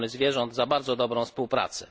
ochrony zwierząt za bardzo dobrą współpracę.